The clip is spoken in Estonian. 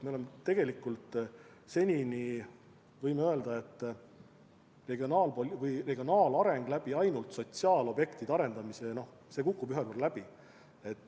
Me võime öelda, et regionaalse elu edendamine ainult sotsiaalobjektide arendamise abil kukub ühel päeval läbi.